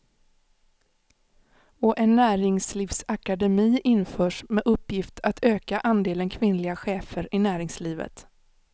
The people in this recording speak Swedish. Och en näringslivsakademi införs med uppgift att öka andelen kvinnliga chefer i näringslivet.